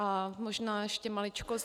A možná ještě maličkost.